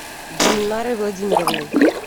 гульнарой владимировной